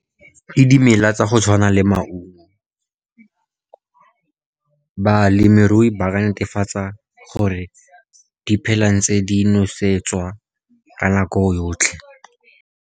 Ke dimela tsa go tshwana le maungo, balemirui ba ka netefatsa gore di phela di ntse di nosetswa ka nako yotlhe.